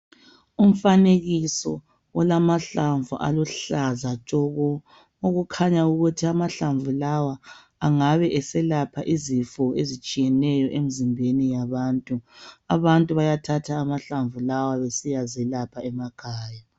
Umfanekiso olamahlamvu aluhlaza tshoko okukhanya ukuthi amahlamvu lawa angabe eselapha izifo ezitshiyeneyo emzimbeni yabantu. Abantu bayathatha amahlamvu lawa besiyazelapha emakhaya.